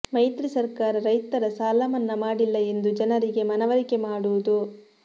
ಮೈತ್ರಿ ಸರ್ಕಾರ ರೈತರ ಸಾಲ ಮನ್ನಾ ಮಾಡಿಲ್ಲ ಎಂದು ಜನರಿಗೆ ಮನವರಿಕೆ ಮಾಡುವುದು